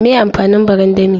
Me amfanin barandami?